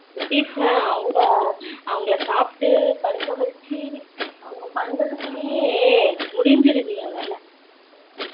குட்டீஸ்லாம் அவங்க அவங்கள சாப்டு படுக்க வச்சி பண்ணுறதகுல்லயே முடிஞ்சிருது என் வேலை